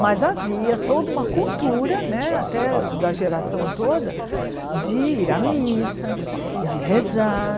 Mas havia toda uma cultura né, até da geração toda, de ir à missa, de rezar.